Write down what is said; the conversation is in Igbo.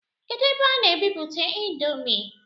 Kedu ebe a na-emeputa índomi?